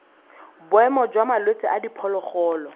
boemo jwa malwetse a diphologolo